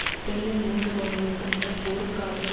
ஸ்பெனியில் மூன்று மாதங்களுக்கு முன்னர் போருக்கு ஆதரவு